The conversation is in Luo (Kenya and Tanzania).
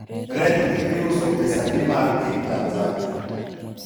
rejgi iuso pesadi mar piny Tanzania?